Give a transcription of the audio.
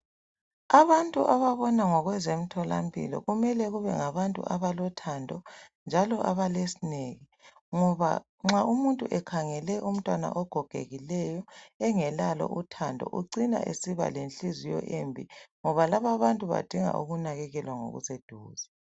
Abantu ababona ngokwezemtholampilo kumele kube ngabantu abalothando njalo abalesineke ngoba nxa umuntu ekhangele umntwana ogogekileyo engelalo uthando ucina esiba lenhliziyo embi ngoba lababantu badinga ukunakekelwa ngokuseduze.